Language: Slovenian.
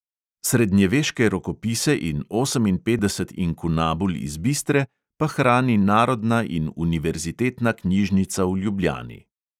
Srednjeveške rokopise in oseminpetdeset inkunabul iz bistre pa hrani narodna in univerzitetna knjižnica v ljubljani.